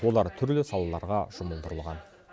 олар түрлі салаларға жұмылдырылған